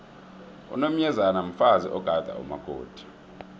unomyezane mfazi ogada umakoti